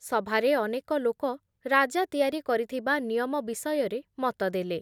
ସଭାରେ ଅନେକ ଲୋକ ରାଜା ତିଆରି କରିଥିବା ନିୟମ ବିଷୟରେ ମତ ଦେଲେ ।